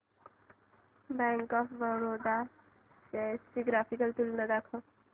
bank of Baroda shares ची graphical तुलना दाखव